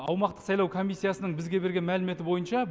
аумақтық сайлау комиссиясының бізге берген мәліметі бойынша